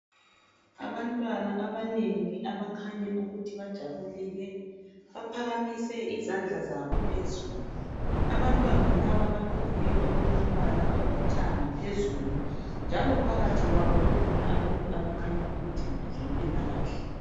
Abantwana abanengi abakhanya ukuthi bajabule baphakamise izandla zabo phezulu. Abantwana laba bagqoke okulombala olithanga phezulu njalo phakathi kwabo kukhona abantu abakhanya ukuthi ngabezempilakahle.